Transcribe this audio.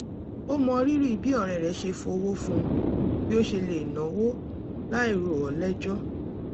ó mọrírì bí ọ̀rẹ́ rẹ̀ ṣe fọ̀wọ̀ fún bí ó ṣe lè náwọ́ láì rò ó lẹ́jọ́